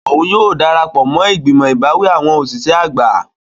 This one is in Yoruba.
Oun yóò darapọ mo igbimọ ibawi awọn oṣiṣẹ agba.